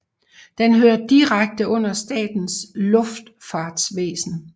Den hører direkte under Statens Luftfartsvæsen